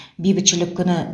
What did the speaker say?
бейбітшілік күні